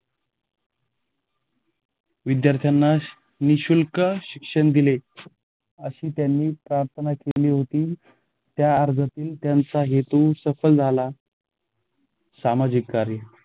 विद्यार्थांना निःशुल्क शिक्षण दिले अशी त्यांनी प्रार्थना केली होती. त्या अर्जातील त्यांचा हेतू सफल झाला सामाजिक कार्य